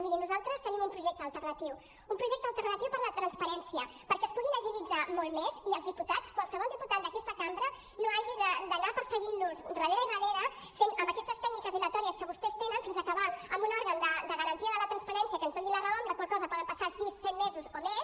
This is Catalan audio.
miri nosaltres tenim un projecte alternatiu un projecte alternatiu per la transparència perquè es puguin agilitzar molt més i els diputats qualsevol diputat d’aquesta cambra no hagi d’anar perseguint los darrere i darrere amb aquestes dilatòries que vostès tenen fins acabar amb un òrgan de garantia de la transparència que ens doni la raó amb la qual cosa poden passar sis set mesos o més